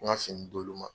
N ka fini d'olu ma